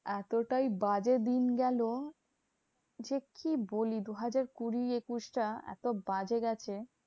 এতটাই বাজে দিন গেলো যে কি বলবো? দুহাজার কুড়ি একুশ টা এত বাজে গেছে?